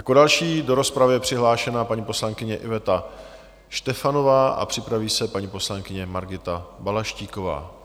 Jako další do rozpravy je přihlášena paní poslankyně Iveta Štefanová a připraví se paní poslankyně Margita Balaštíková.